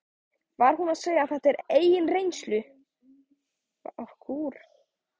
Var hún að segja þetta af eigin reynslu?